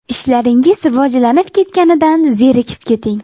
Ishlaringiz rivojlanib ketganidan zerikib keting!